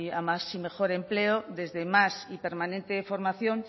a más y mejor empleo desde más y permanente formación